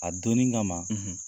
A donnin kama